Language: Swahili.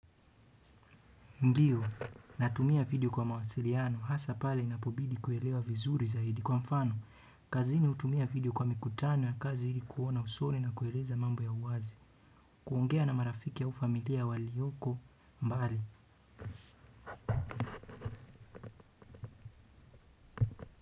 Ndiyo, natumia video kwa mawasiliano, hasa pale inapobidi kuelewa vizuri zaidi kwa mfano, kazini hutumia video kwa mikutano ya kazi ili kuona usoni na kueleza mambo ya uwazi, kuongea na marafiki au familia walioko mbali.